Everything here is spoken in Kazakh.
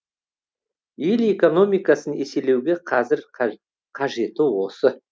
ел экономикасын еселеуге қазір қажеті осы